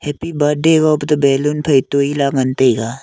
Happy birthday gape toh ballon phai toi lah ngai taiga.